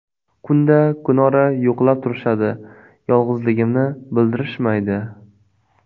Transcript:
Kunda-kunora yo‘qlab turishadi, yolg‘izligimni bildirishmaydi.